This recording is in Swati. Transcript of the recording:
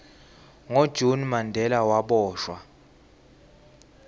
ngo june mandela waboshwa